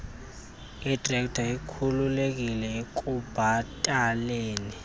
itrekta ikhululiwe ekubhataleni